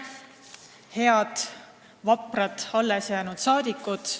Head vaprad saali jäänud saadikud!